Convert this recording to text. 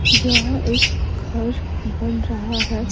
जहां एक घर बन रहा है।